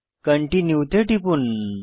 continue তে টিপুন